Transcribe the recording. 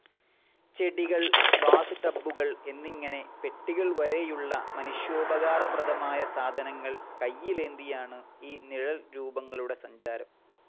ചെടികൾ, ബാത്ടബ്ബുകൾ എന്നിങ്ങനെ പെട്ടികൾവരെയുള്ള മനുഷ്യോപകാരപ്രദമായ സാധനങ്ങൾ കൈയിലേന്തിയാണ് ഈ നിഴൽരൂപങ്ങളുടെ സഞ്ചാരം.